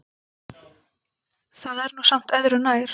Það er nú samt öðru nær.